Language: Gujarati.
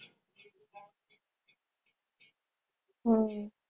હમ